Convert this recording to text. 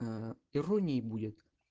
ээ иронией будет